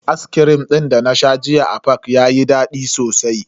Ascrim din dana sha jiya a fak yayi dadi sosai.